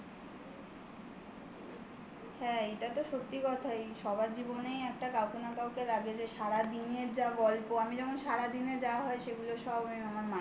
হ্যাঁ এটা তো সত্যি কথাই. সবার জীবনেই একটা কাউকে না কাউকে লাগে যে সারাদিনের যা গল্প. আমি যখন সারাদিনে যা হয় সেগুলো সব আমি আমার মাকে বলি